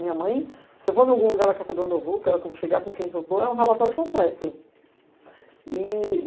Minha mãe, se eu vou em algum lugar e ela quer saber onde eu vou, que hora eu vou chegar, com quem eu estou, é um relatório completo. E